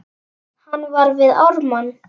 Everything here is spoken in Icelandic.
Hann var við Ármann.